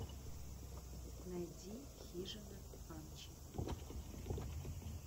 найди хижина амчи